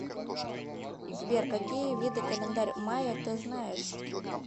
сбер какие виды календарь майя ты знаешь